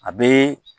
A bɛ